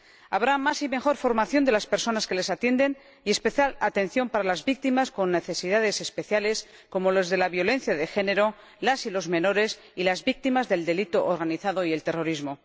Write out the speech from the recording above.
Habrá más y mejor formación de las personas que las atienden, y especial atención para las víctimas con necesidades especiales, como las de la violencia de género, las y los menores, y las víctimas del delito organizado y el terrorismo.